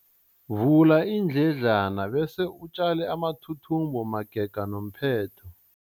Vula iindledlana bese utjale amathuthumbo magega nomphetho.